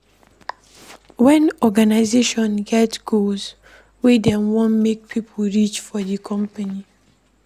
When organisation get goals wey dem want make pipo reach for do company